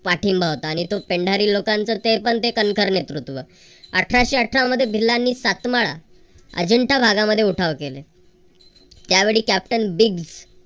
पाठिंबा होता. आणि तो पेंढारी लोकांचा ते पण ते कणखर नेतृत्व. अठराशे अठरामध्ये भिल्लांनी सातमाळा अजंठा भागामध्ये उठाव केले. त्यावेळी कॅप्टन ब्रिग्ज